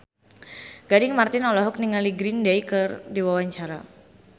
Gading Marten olohok ningali Green Day keur diwawancara